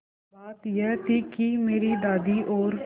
बात यह थी कि मेरी दादी और